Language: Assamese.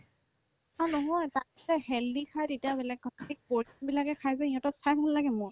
অ, নহয় তাতচাই healthy খা তেতিয়া বেলেগ কথা